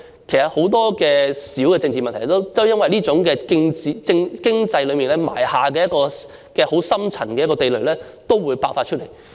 其實，很多小的政治問題都會因此而在經濟方面埋下一個深層的地雷，遲早都會爆發出來。